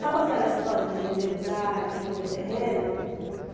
Sabe aquela história de vender lugar, de vender terreno?